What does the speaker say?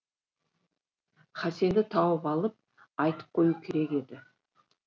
хасенді тауып алып айтып қою керек еді